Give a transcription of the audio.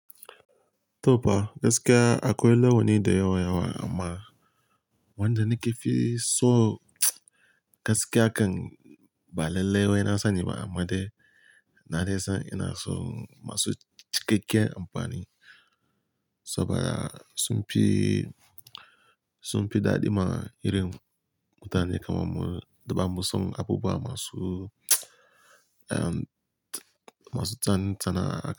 To fa gaskiya akwai launi da yawa yawa amma wanda nake fi so, gaskiya kan ba lallai wai na sani ba amma dai na dai san ina son masu cikakkiyan amfani. Saboda sun fi, sun fi daɗi ma irin mutane kamar mu duba musam abubuwa masu, ehm, masu tsananta na.